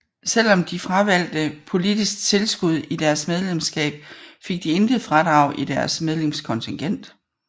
Selvom de fravalgte politisk tilskud i deres medlemskab fik de intet fradrag i deres medlemskontingent